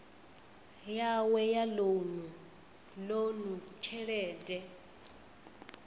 yawe ya lounu ḽoan tshelede